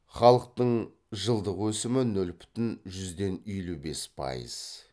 халықтың жылдық өсімі нөл бүтін жүзден елу бес пайыз